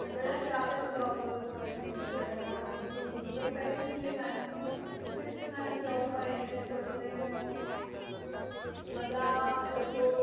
ઘણા travel blogger હોય છે બહુ profession છોડી ને ઘણા લોકો